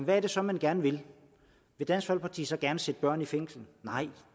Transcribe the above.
er det så man gerne vil vil dansk folkeparti så gerne sætte børn i fængsel nej